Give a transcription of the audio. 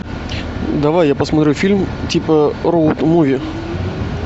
давай я посмотрю фильм типа роуд муви